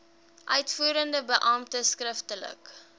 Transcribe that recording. uitvoerende beampte skriftelik